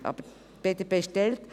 Die BDP ist aber geteilt.